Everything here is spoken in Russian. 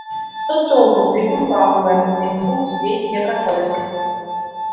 что толку крикнул пауэлл ведь звук здесь не проходит